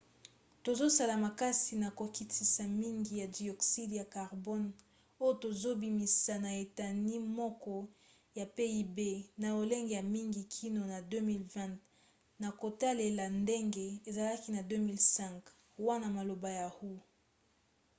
tozosala makasi na kokitisa mingi ya dioxyde ya carbone oyo tozobimisa na eteni moko ya pib na lolenge ya mingi kino na 2020 na kotalela ndenge ezalaki na 2005 wana maloba ya hu